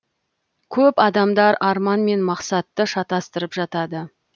көп адамдар арман мен мақсатты шатастырып жатады